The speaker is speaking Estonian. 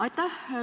Aitäh!